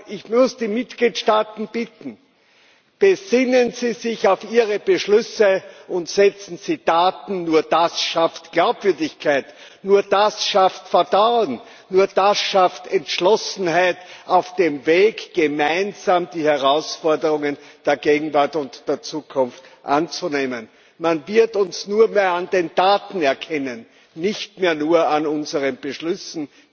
Ich muss die Mitgliedstaaten bitten Besinnen Sie sich auf Ihre Beschlüsse und setzen Sie Taten, nur das schafft Glaubwürdigkeit, nur das schafft Vertrauen, nur das schafft die nötige Entschlossenheit auf dem Weg, gemeinsam die Herausforderungen der Gegenwart und der Zukunft anzunehmen. Man wird uns nur mehr an den Taten erkennen, nicht mehr nur an unseren Beschlüssen.